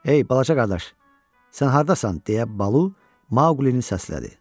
Ey balaca qardaş, sən hardasan, deyə Balu Maulini səslədi.